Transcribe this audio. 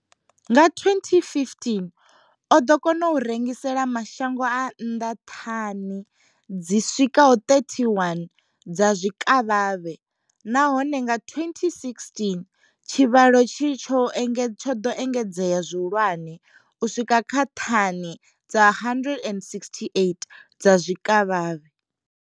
Nga 2015 oḓo kona u rengisela mashango a nnḓa thani dzi swikaho 31 dza zwikavhavhe, nahone nga 2016 tshivhalo itshi tsho ḓo engedzea zwihulwane u swika kha thani dza 168 dza zwikavhavhe.